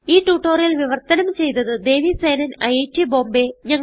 ഈ ട്യൂട്ടോറിയൽ വിവർത്തനം ചെയ്തത് ദേവി സേനൻ ഐറ്റ് ബോംബേ